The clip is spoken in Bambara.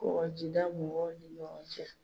Kɔkɔjida mɔgɔw ni ɲɔgɔn cɛ.